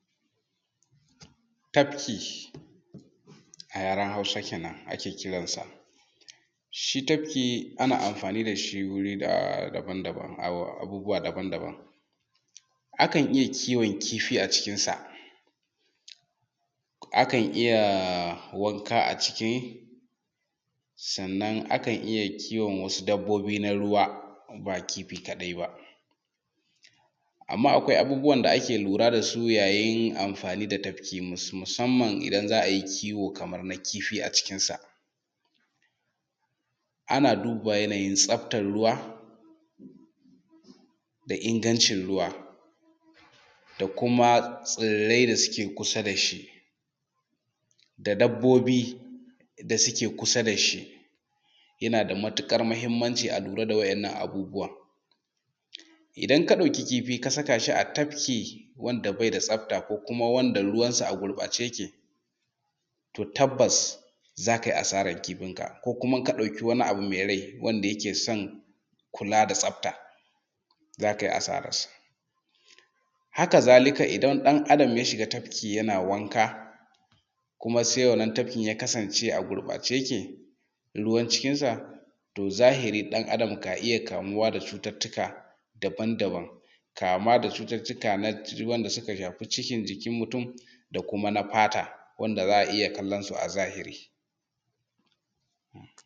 Tafki a yaran hausa kenan ake kira sa. Shi tafki ana amfani da shi wurin abubuwa daban daban. Akan iya kiwon kifi a cikinsa, akan iya wanka a ciki, sannan akan iya kiwon wasu dabobi na ruwa ba kifi kaɗai ba. Amma akwai abubuwa da ake lura da su yayin amfanin da tafki musaman idan za a yi kiwo kamar na kifi a cikinsa. Ana duba yanayin tsaftan ruwa da inganci ruwa da kuma tsirai da suke kusa da shi, da dabobi da suke kusa da shi. Yana da matuƙar muhinmanci a lura da wa'inan abubuwa. Idan ka ɗauk kifi ka saka shi a tafki wanda bai da tsafta ko kuma wanda ruwansa a gurbace yake to tabbas za kai asaran kifinka, ko kuma in ka ɗauki wani abu mai rai wanda yake son kula da tsafta za kai a saransa. Haka zalika idan ɗan Adam ya shiga tafki yana wanka kuma sai wannan tafkin ya kasance a gurɓace yake, ruwa cikinsa, to zahiri ɗan Adam ka iya kamuwa da cucuttuka daban daban kama da cucuttuka na jikin wanda suka shafi cikin jikin mutum, da kuma na fata wanda za a iya kalan su a zahiri.